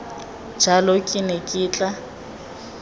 jalo ke ne ke tla